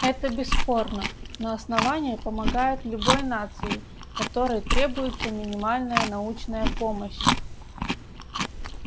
это бесспорно но основание помогает любой нации которой требуется минимальная научная помощь